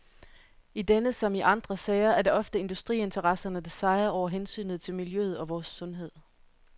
I denne som i andre sager er det ofte industriinteresserne der sejrer over hensynet til miljøet og vores sundhed.